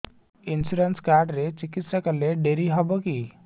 insurance card ରେ ଚିକିତ୍ସା କଲେ ଡେରି ହବକି